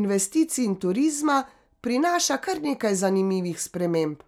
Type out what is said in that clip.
investicij in turizma, prinaša kar nekaj zanimivih sprememb.